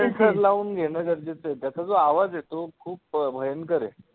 घेणं गरजेचं आहे त्याचं जो आवाज आहे तो खूप भयंकर आहे.